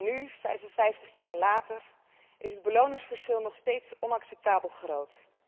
Nu, 55 jaar later, is het beloningsverschil nog steeds onacceptabel groot.